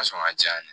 sɔn ka di yan